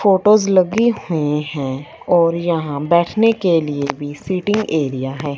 Photos लगी हुई है और यहां बैठने के लिए भी सीटिंग एरिया है।